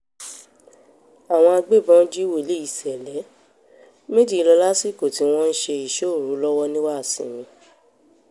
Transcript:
àwọn agbébọn jí wòlíì ṣẹlẹ̀ méjì lọ lásìkò tí wọ́n ń ṣe ìṣọ́ òru lọ́wọ́ ní wàsinmi